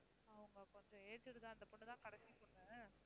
அவங்க கொஞ்சம் aged தான். அந்தப் பொண்ணு தான் கடைசி பொண்ணு.